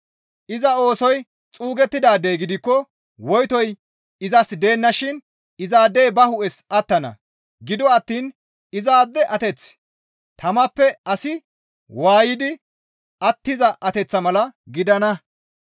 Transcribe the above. Iza oosoy xuugettidaadey gidikko woytoy izas deennashin izaadey ba hu7es attana; gido attiin izaade ateththi tamappe asi waaydi attiza ateththa mala gidana.